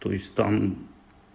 то есть там